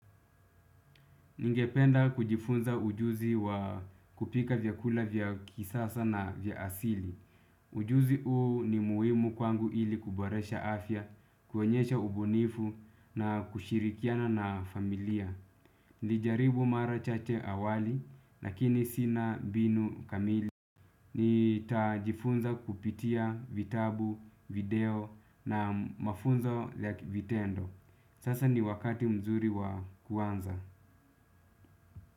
Ningependa kujifunza ujuzi wa kupika vyakula vya kisasa na vya asili. Ujuzi huu ni muhimu kwangu ili kuboresha afya, kuonyesha ubunifu na kushirikiana na familia. Nilijaribu mara chache awali, lakini sina mbinu kamili. Nitajifunza kupitia vitabu, video na mafunzo ya ki vitendo. Sasa ni wakati mzuri wa kuanza.